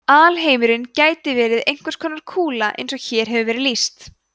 alheimurinn gæti verið einhvers konar kúla eins og hér hefur verið lýst